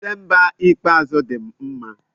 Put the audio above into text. Dịsemba ikpeazụ dị m mma.